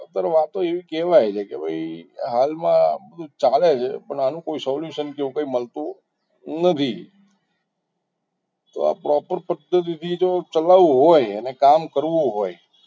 અત્યારે વાતો તો એવી કહેવાય છે કે ભાઈ હાલમાં તો બધું ચાલે છે solution કે એવું કંઈ મળતું નથી તો આ proper પ્ર્ધતિ થી જો ચલાવવું હોય અને કામ કરવું હોય